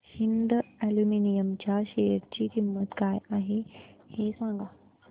Hind aluminium च्या share ची किंमत काय आहे हे सांगा